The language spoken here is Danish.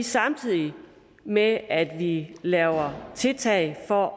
samtidig med at at vi laver tiltag for